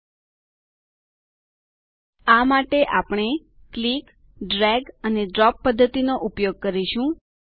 આ માટે આપણે ક્લિક દબાવવું ડ્રેગ એક સ્થાનેથી બીજે સ્થાને ખસેડવું અને ડ્રોપ નિશ્ચિત સ્થાને મુકવું પદ્ધતિનો ઉપયોગ કરીશું